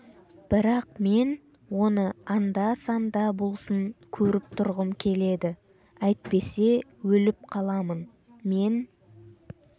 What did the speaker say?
бірақ мен оны анда-санда болсын көріп тұрғым келеді әйтпесе өліп қаламын мен